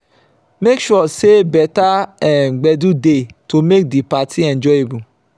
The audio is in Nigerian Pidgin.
make sure say better um gbedu de to make di parti enjoyable